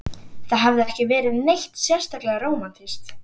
Það hafði ekki verið neitt sérstaklega rómantískt.